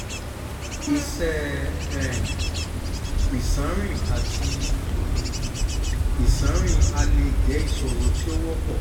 iṣẹ̀ um iṣanrin ati iṣanrin alẹ jẹ iṣoro ti o wọpọ um